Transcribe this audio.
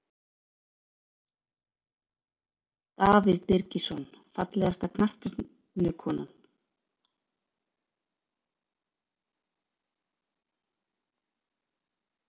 Davíð Birgisson Fallegasta knattspyrnukonan?